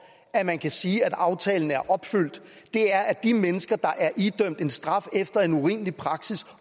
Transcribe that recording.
at man kan sige at aftalen er opfyldt er at de mennesker der er idømt en straf efter en urimelig praksis